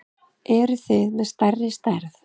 Eruð þið með stærri stærð?